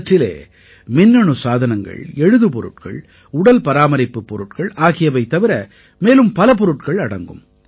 இவற்றிலே மின்னணு சாதனங்கள் எழுதுபொருள்கள் உடல்பராமரிப்புப் பொருள்கள் ஆகியவை தவிர மேலும் பல பொருட்கள் அடங்கும்